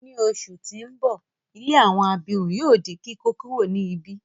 Ni oṣù ti n bọ, ilé àwọn abirùn yóò di kíkókuro ni ibi.